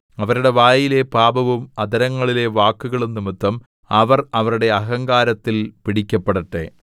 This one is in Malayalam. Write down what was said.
അവരുടെ വായിലെ പാപവും അധരങ്ങളിലെ വാക്കുകളും നിമിത്തം അവർ അവരുടെ അഹങ്കാരത്തിൽ പിടിക്കപ്പെടട്ടെ